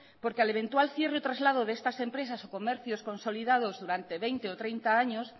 porque al eventual cierre o traslado de estas empresas o comercios consolidados durante veinte o treinta años